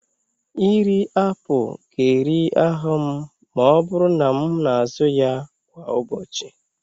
Iri apụl ga-eri ahụ m ma ọ bụrụ na m na-azụ ya kwa ụbọchị.